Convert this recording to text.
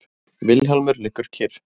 Vilhjálmur liggur kyrr.